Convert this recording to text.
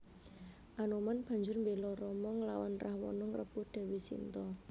Anoman banjur mbéla Rama nglawan Rahwana ngrebut Dèwi Sinta